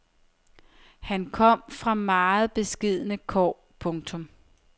Han kom fra meget beskedne kår. punktum